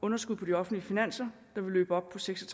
underskud på de offentlige finanser der vil løbe op på seks og